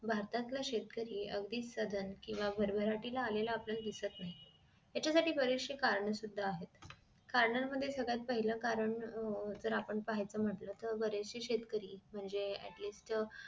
भारतातील शेतकरी अगदी सधन केंव्हा भरभराटीला आलेला आपल्याला दिसत नाही त्याच्या साठी बरीचशी करणे सुद्धा आहेत कारणानं मध्ये सगळ्यात पाहिलं कारण अह जर आपण पाहायचं म्हंटल तर बरेचशे शेतकरी म्हणजे atleast